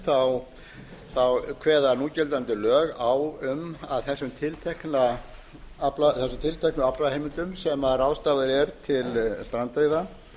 við þekkjum kveða núgildandi lög á um að þessum tilteknu aflaheimildum sem ráðstafað er til strandveiða